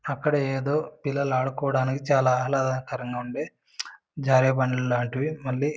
అక్కడ ఎదో పిల్లలు ఆదుకోవడానికి చాల ఆహ్లదకరంగా ఉండే జర్వ్ బండలు లాంటివి మళ్ళీ --